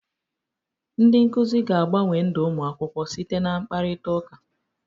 Ndị nkuzi ga-agbanwe ndụ ụmụ akwụkwọ site na mkparịtaụka.